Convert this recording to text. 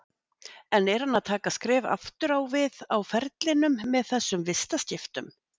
En er hann að taka skref aftur á við á ferlinum með þessum vistaskiptum?